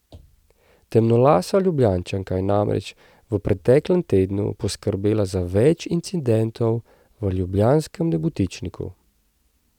Temnolasa Ljubljančanka je namreč v preteklem tednu poskrbela za več incidentov v ljubljanskem Nebotičniku.